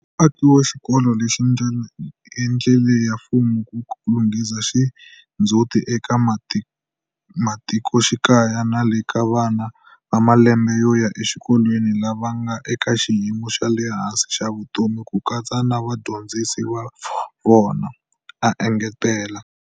Akiwa ka xikolo lexi i ndlela ya mfumo ku lunghisa xindzhuti eka matikoxikaya na le ka vana va malembe yo ya exikolweni lava nga eka xiyimo xa le hansi xa vutomi ku katsa na vadyondzisi va vona, a engetela.